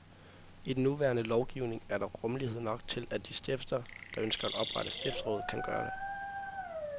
I den nuværende lovgivning er der rummelighed nok til, at de stifter, der ønsker at oprette stiftsråd, kan gøre det.